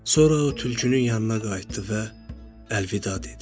Sonra o tülkünün yanına qayıtdı və əlvida dedi.